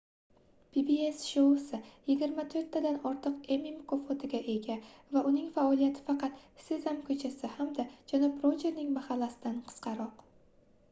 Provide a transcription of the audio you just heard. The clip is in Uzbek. pbs shousi yigirma to'rttadan ortiq emmy mukofotiga ega va uning faoliyati faqat sezam ko'chasi hamda janob rojerning mahallasi"dan qisqaroq